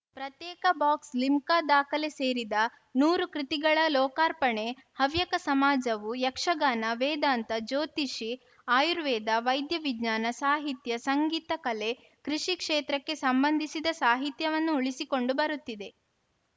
ಪ್ರತ್ಯೇಕ ಬಾಕ್ಸ್‌ಲಿಮ್ಕಾ ದಾಖಲೆ ಸೇರಿದ ನೂರು ಕೃತಿಗಳ ಲೋಕಾರ್ಪಣೆ ಹವ್ಯಕ ಸಮಾಜವು ಯಕ್ಷಗಾನ ವೇದಾಂತ ಜ್ಯೋತಿಷಿ ಆಯುರ್ವೇದ ವೈದ್ಯವಿಜ್ಞಾನ ಸಾಹಿತ್ಯ ಸಂಗೀತ ಕಲೆ ಕೃಷಿ ಕ್ಷೇತ್ರಕ್ಕೆ ಸಂಬಂಧಿಸಿದ ಸಾಹಿತ್ಯವನ್ನು ಉಳಿಸಿಕೊಂಡು ಬರುತ್ತಿದೆ